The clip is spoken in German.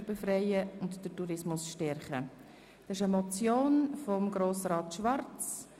Wir sind nun bei Traktandum 46, der Motion von Grossrat Schwarz.